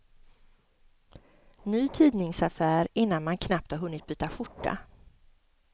Ny tidningsaffär innan man knappt har hunnit byta skjorta.